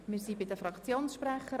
Wir sind bei den Fraktionssprechern.